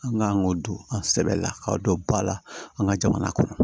An kan k'o don an sɛbɛla k'aw don ba la an ka jamana kɔnɔ